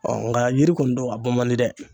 Ɔ nga yiri kɔni don a bɔ man di dɛ